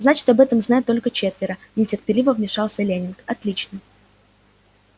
значит об этом знают только четверо нетерпеливо вмешался лэннинг отлично